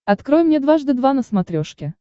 открой мне дважды два на смотрешке